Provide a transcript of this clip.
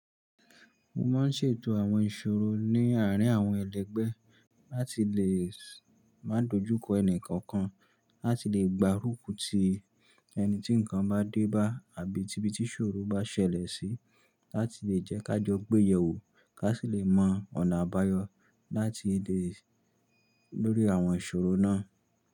Mo máa ń ṣètò àwọn ìṣòro ní àárín àwọn ẹlẹgbẹ́ láti lè má dojú kọ ẹnì kankan, láti lè gba rúkù tí ẹni tí nǹkan bá dé bá àbí tìbí tí ìṣòro bá ṣẹlẹ̀ sí, láti lè jẹ́ ká jọ gbéyèwò ká sì lè mọ ọ̀nà àbáyọ láti lè lórí àwọn ìṣòro náà.